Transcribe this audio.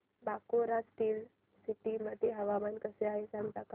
Bokaro steel city मध्ये हवामान कसे आहे सांगता का